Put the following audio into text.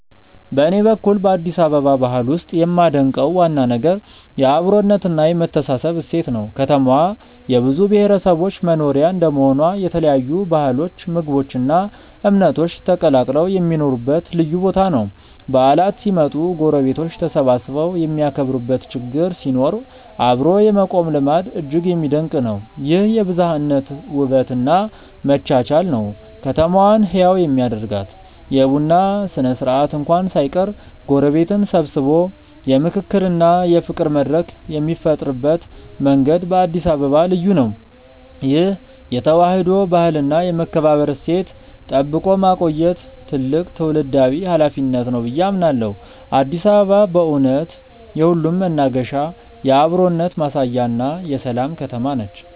በኔ በኩል በአዲስ አበባ ባህል ውስጥ የማደንቀው ዋና ነገር የአብሮነትና የመተሳሰብ እሴት ነው። ከተማዋ የብዙ ብሔረሰቦች መኖሪያ እንደመሆኗ የተለያዩ ባህሎች ምግቦች እና እምነቶች ተቀላቅለው የሚኖሩበት ልዩ ቦታ ነው። በዓላት ሲመጡ ጎረቤቶች ተሰባስበው የሚያከብሩበት ችግር ሲኖር አብሮ የመቆም ልማድ እጅግ የሚደነቅ ነው። ይህ የብዝሃነት ውበት እና መቻቻል ነው ከተማዋን ህያው የሚያደርጋት። የቡና ስነ-ስርዓት እንኳን ሳይቀር ጎረቤትን ሰብስቦ የምክክርና የፍቅር መድረክ የሚፈጥርበት መንገድ በአዲስ አበባ ልዩ ነው። ይህን የተዋህዶ ባህልና የመከባበር እሴት ጠብቆ ማቆየት ትልቅ ትውልዳዊ ኃላፊነት ነው ብዬ አምናለሁ። አዲስ አበባ በእውነት የሁሉም መናገሻ፣ የአብሮነት ማሳያና የሰላም ከተማ ነች።